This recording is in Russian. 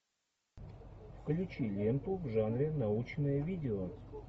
включи ленту в жанре научное видео